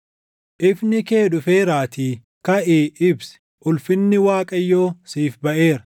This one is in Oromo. “Ifni kee dhufeeraatii kaʼii ibsi; ulfinni Waaqayyoo siif baʼeera.